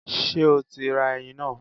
Ṣé o ti ra ẹyin náà?